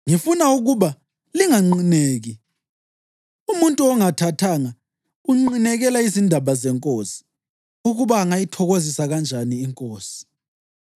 Ngifuna ukuba linganqineki. Umuntu ongathathanga unqinekela izindaba zeNkosi, ukuba angayithokozisa kanjani iNkosi.